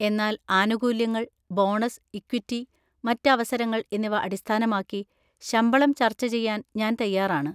എന്നാൽ ആനുകൂല്യങ്ങൾ, bonus, equity, മറ്റ് അവസരങ്ങൾ എന്നിവ അടിസ്ഥാനമാക്കി ശമ്പളം ചർച്ച ചെയ്യാൻ ഞാൻ തയ്യാറാണ്.